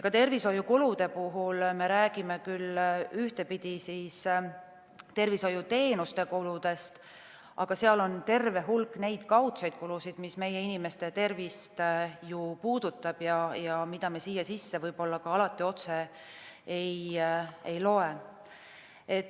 Ka tervishoiukulude puhul me räägime küll ühtepidi tervishoiuteenuste kuludest, aga seal on terve hulk kaudseid kulusid, mis meie inimeste tervist puudutavad, aga mida me sinna sisse võib-olla alati otse ei loe.